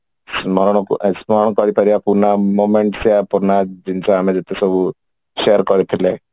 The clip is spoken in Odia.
ସ୍ମରଣକୁ ଏ ସ୍ମରଣ କରିପାରିବା ପୁରୁଣା moments ପୁରୁଣା ଜିନିଷ ଆମେ ଯେତେ ସବୁ share କରିଥିଲେ